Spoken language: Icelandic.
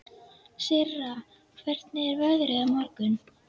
Sirra, hvernig er veðrið á morgun?